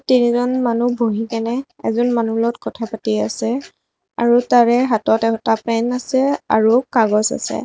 তিনিজন মানুহ বহি কেনে এজন মানুহৰ লগত কথা পাতি আছে আৰু তাৰে হাতত এটা পেন আছে আৰু কাগজ আছে।